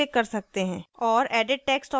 अब labels का नाम बदलें